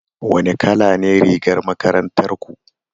Wane kala ne rigar makarantar ku?